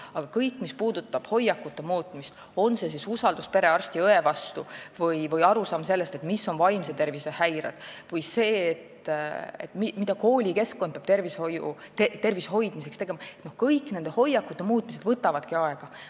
Aga kõik, mis puudutab hoiakute muutmist, on see siis usaldus perearsti ja -õe vastu või arusaam sellest, mis on vaimse tervise häired, või sellest, mida koolikeskkond peab tervise hoidmiseks tegema – kõige selle muutmine võtab aega.